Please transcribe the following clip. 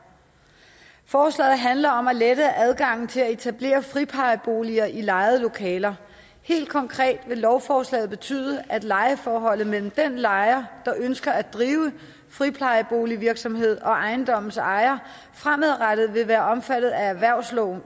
forslaget handler om at lette adgangen til at etablere friplejeboliger i lejede lokaler helt konkret vil lovforslaget betyde at lejeforholdet mellem den lejer der ønsker at drive friplejeboligvirksomhed og ejendommens ejer fremadrettet vil være omfattet af erhvervslejeloven